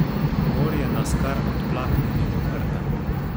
Morje nas kar odplakne mimo rta.